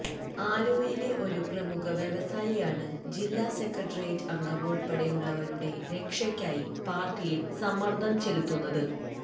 ആലുവയിലെ ഒരു പ്രമുഖ വ്യവസായിയാണ് ജില്ലാ സെക്രട്ടേറിയറ്റ് അംഗം ഉള്പ്പെടെയുള്ളവരുടെ രക്ഷയ്ക്കായി പാര്ട്ടിയില് സമ്മര്ദ്ദം ചെലുത്തുന്നത്